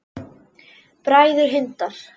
Bræður Hindar